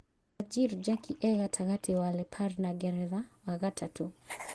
Bajir Njeki e-gatagatĩ wa Lapare na Ngeretha, wa gatatũ: